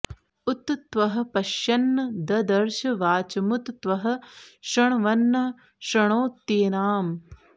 उ॒त त्वः॒ पश्य॒न्न द॑दर्श॒ वाच॑मु॒त त्वः॑ शृ॒ण्वन्न शृ॑णोत्येनाम्